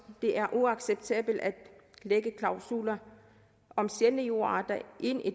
det er uacceptabelt at lægge klausuler om sjældne jordarter ind i